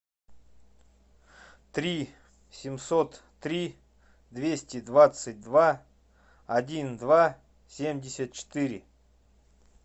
три семьсот три двести двадцать два один два семьдесят четыре